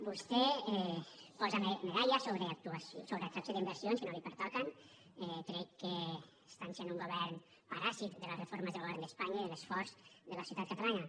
vostè posa medalles sobre atracció d’inversions que no li pertoquen crec que estan sent un govern paràsit de les reformes del govern d’espanya i de l’esforç de la societat catalana